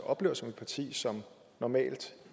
oplever som et parti som normalt